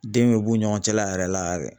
Den bɛ b'u ni ɲɔgɔn cɛla yɛrɛ la yɛrɛ.